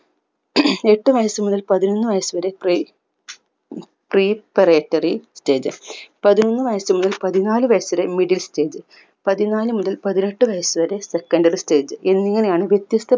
എട്ടു വയസു മുതൽ പതിനൊന്ന് വയസു വരെ preparatory stage പതിനൊന്ന് വയസു മുതൽ പതിനാല് വയസുവരെ middle stage പതിനാല് മുതൽ പതിനെട്ടു വയസ് വരെ secondary stage എന്നിങ്ങനെയാണ് വ്യത്യസ്‌ത